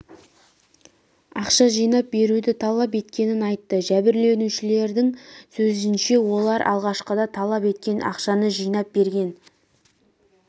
ақша жинап беруді талап еткенін айтты жәбірленушілердің сөзінше олар алғашқыда талап еткен ақшаны жинап берген